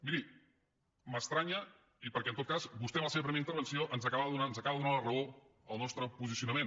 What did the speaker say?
miri m’estranya i perquè en tot cas vostè en la seva primera intervenció ens acaba de donar la raó al nostre posicionament